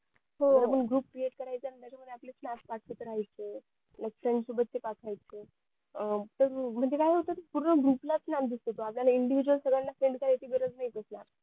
हो groupcreate करायचा आणि त्याच्यामध्ये आपले snap टाकत राहायचे likefriend सोबत चे टाकायचे म्हणजे काय होत कि पूर्ण group ला snap दिसतोतो आपल्याला individual सगळ्यांना send करायची गरज नाही